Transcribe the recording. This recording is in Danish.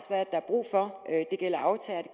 der er brug for det gælder aftagere